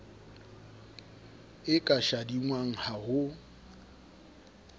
e ka shadingwang ha ho